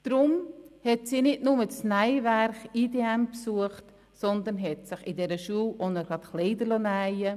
Darum hat sie nicht nur das Nähwerk Industrie Dienstleistung Modegestaltung (IDM) besucht, sondern hat sich von dieser Schule auch gleich Kleider nähen lassen.